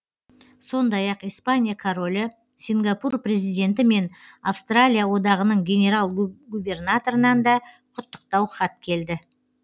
сондай ақ испания королі сингапур президенті мен австралия одағының генерал губернаторынан да құттықтау хат келді